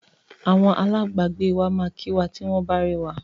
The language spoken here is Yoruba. Awọn alábàágbé wa máa kí wa tí wọ́n bá rí wa.